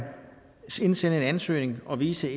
indsende en ansøgning og vise